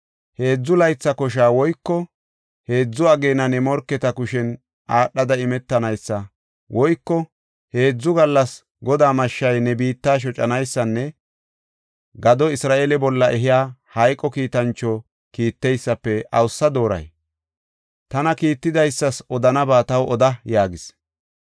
heedzu laytha kosha woyko heedzu ageena ne morketa kushen aadhada imetanaysa woyko heedzu gallas Godaa mashshay ne biitta shocanaysanne gado Isra7eele bolla ehiya hayqo kiitancho kiitteysafe awusa dooray? Tana kiittidaysas odanaba taw oda” yaagis.